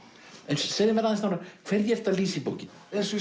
segðu mér aðeins nánar hverju ertu að lýsa í bókinni